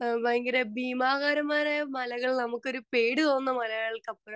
speaker 2 ഭയങ്കര ഭീമാകാരൻമാരായ മലകള് നമുക്കൊരു പേടിതോന്നുന്ന മലകൾക്കപ്പുറം